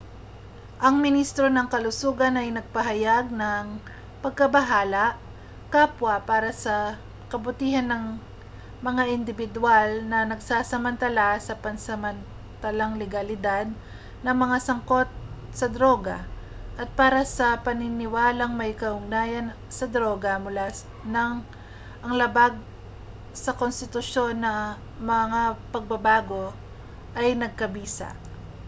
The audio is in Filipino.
ang ministro ng kalusugan ay nagpahayag ng pagkabahala kapwa para sa kabutihan ng mga indibidwal na nagsasamantala sa pansamantalang legalidad ng mga sangkot na droga at para sa mga paniniwalang may kaugnayan sa droga mula nang ang labag sa konstitusyon na mga pagbabago ay nagkabisa